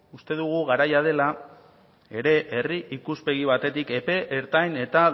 uste dugu garaia dela ere herri ikuspegi batetik epe ertain eta